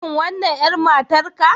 Shin wannan 'yar matarka